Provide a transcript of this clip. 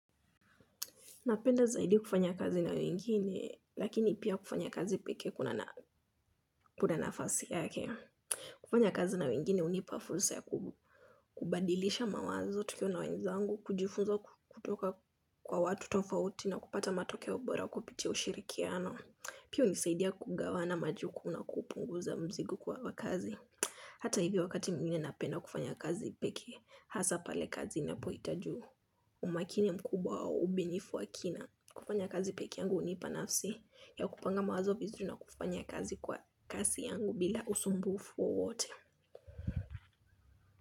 Napenda zaidi kufanya kazi na wengine lakini pia kufanya kazi pekee kuna kuna nafasi yake. Kufanya kazi na wengine hunipa fursa ya kubadilisha mawazo, tukiwa na wenzangu, kujifunza kutoka kwa watu tofauti na kupata matokeo bora kupitia ushirikiano. Pia hunisaidia kugawana majukumu na kupunguza mzigo kwa wa kazi. Hata hivi wakati mwingine napenda kufanya kazi pekee, hasa pale kazi inapohitaji umakini mkubwa wa ubunifu wa kina. Kufanya kazi pekee yangu hunipa nafsi ya kupanga mawazo vizuri na kufanya kazi kwa kasi yangu bila usumbufu wowote.